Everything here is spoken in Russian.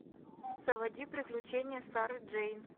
заводи приключения сары джейн